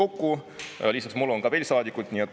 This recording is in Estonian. Lisaks mulle on veel saadikuid.